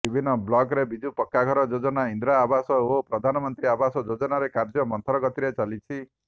ବିଭିନ୍ନ ବ୍ଲକ୍ରେ ବିଜୁ ପକ୍କାଘର ଯୋଜନା ଇନ୍ଦିରାଆବାସ ଓ ପ୍ରଧାନମନ୍ତ୍ରୀ ଆବାସ ଯୋଜନାରେ କାର୍ଯ୍ୟ ମନ୍ଥର ଗତିରେ ଚାଲିଛି